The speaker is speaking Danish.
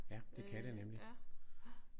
Ja. Det kan det nemlig